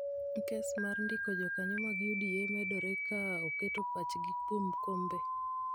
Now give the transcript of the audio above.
Keso mar ndiko jokanyo mag UDA medore ka oketo pachgi kuom kombe